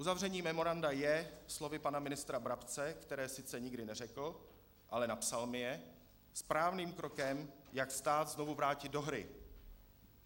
Uzavření memoranda je, slovy pana ministra Brabce, která sice nikdy neřekl, ale napsal mi je, správným krokem, jak stát znovu vrátit do hry.